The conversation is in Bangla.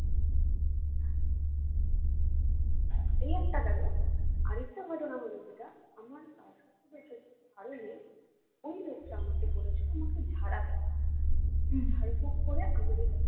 এই একটা গেলো আরেকটা ঘটনা হলো যেটা আমার কালসর্প দোষের কারণে ওই লোকটা আমাকে বলেছিলো আমাকে ঝাড়াবে ঝাড়ফুঁক করে আমার ওই ব্যাথা কমাবে